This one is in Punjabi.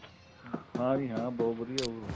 ਹਾਂਜੀ ਹਾਂ ਬਹੁਤ ਵਧੀਆ ਉਹ